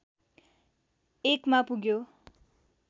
१ मा पुग्यो